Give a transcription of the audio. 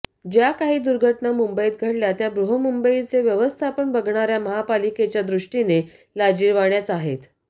ज्या काही दुर्घटना मुंबईत घडल्या त्या बृहन्मुंबईचं व्यवस्थापन बघणाऱ्या महापालिकेच्या दृष्टीने लाजिरवाण्याच आहेत